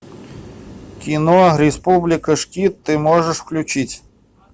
кино республика шкид ты можешь включить